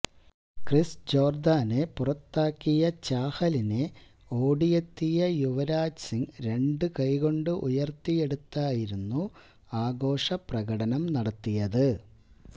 Chris ജോര്ദാനെ പുറത്താക്കിയ ചാഹലിനെ ഓടിയെത്തിയ യുവരാജ് സിംഗ് രണ്ട് കൈ കൊണ്ട് ഉയര്ത്തിയെടുത്തായികുന്നു ആഘോഷപ്രകടനം നടത്തിയത്